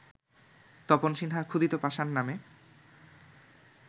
তপন সিনহা ‘ক্ষুধিত পাষাণ’ নামে